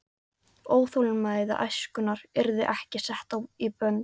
Óþolinmæði æskunnar yrði ekki sett í bönd.